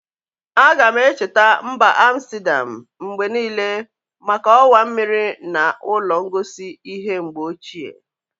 Aga-na echeta mba Amstedam mgbe niile maka ọwa mmiri na ụlọ ngosi ihe mgbe ochie.